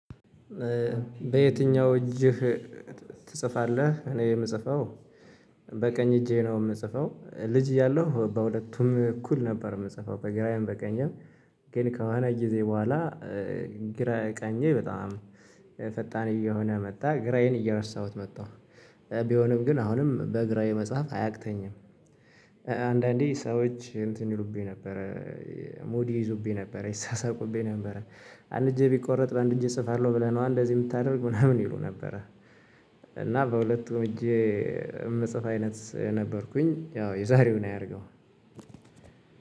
በየትኛው እጅህ ትጽፋለህ? እኔ የምጽፈው በቀኝ እጄ ነው የምጽፈው። ልጅ እያለሁ በሁለቱም እኩል ነበር የምጽፈው በግራዬም በቀኝም። ግን ከሆነ ጊዜ በኋላ ግራ ቀኜ በጣም ፈጣን እየሆነ መጣ ግራዬን እየረሳሁት መጣሁ። ቢሆንም ግን አሁንም በግራዬ መጽሐፍ አያቅተኝም። አንዳንዴ ሰዎች እንትን ይሉብኝ ነበረ ሙድ ይዙብኝ ነበረ ይሳሳቁብኝ ነበረ። አንድ እጄ ቢቆረጥ በአንድ እጄ እጽፋለሁ ብለህ ነው እንደዚህ የምታደርግ ምናምን ይሉ ነበረ። እና በሁለቱም እጄ የምጽፍ አይነት ነበርኩኝ ያው የዛሬውን አያድርገው።